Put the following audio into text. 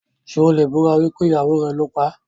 Ṣé o lè búra wípé ìyàwó rẹ̀ ló paá?